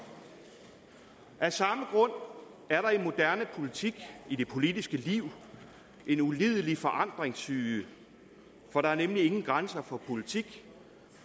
af samme grund er der i moderne politik i det politiske liv en ulidelig forandringssyge for der er nemlig ingen grænser for politikken